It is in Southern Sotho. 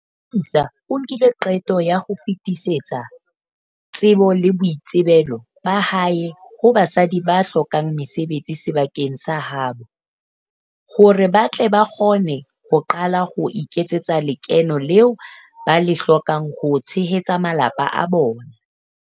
Yolisa o nkile qeto ya ho fetisetsa tsebo le boitsebelo ba hae ho basadi ba hlokang mesebetsi sebakeng sa ha bo, hore ba tle ba kgone ho qala ho iketsetsa lekeno leo ba le hlokang ho tshehetsa malapa a bona.